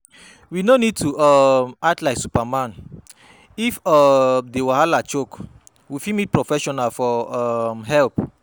We no need to um act like superman, if um di wahala choke, we fit meet professional for um help